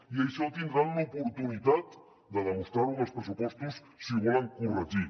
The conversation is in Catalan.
i això tindran l’oportunitat de demostrar ho en els pressupostos si ho volen corregir